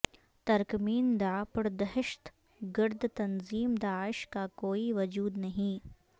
ترکمین داع پردہشت گرد تنظیم داعش کا کوئی وجود نہیں